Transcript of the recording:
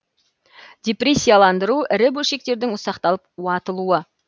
дипресияландыру ірі бөлшектердің ұсақталып уатылуы